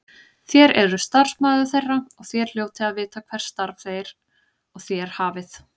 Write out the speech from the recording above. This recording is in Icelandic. Þér eruð starfsmaður þeirra og þér hljótið að vita hvert starf þeir og þér hafið.